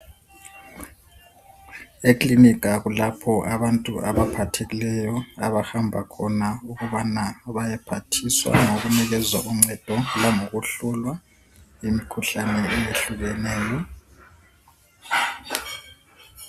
Eklinika kulapho abantu abantu abaphathekileyo abahamba khona ukubana bayephathiswa ngokunikezwa uncedo langokuhlolwa imikhuhlane ehlukeneyo